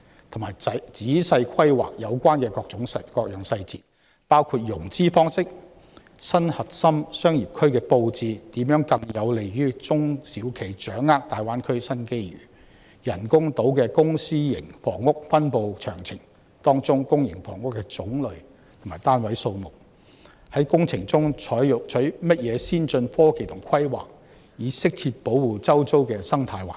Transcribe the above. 同時，政府須仔細規劃各項細節，包括：融資方式；新核心商業區的布置如何更有利中小企掌握大灣區的新機遇；人工島的公私營房屋分布詳情；當中公營房屋的種類和單位數目；以及在工程中採用甚麼先進科技及規劃以適切保護周遭的生態環境。